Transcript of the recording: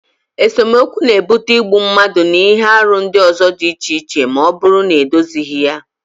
Esemokwu n'ebute igbu mmadụ na ihe arụ ndị ọzọ dị iche iche ma ọ bụrụ na edozighi ya